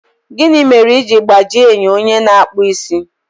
Gịnị mere i ji gbajie enyo onye na-akpụ isi?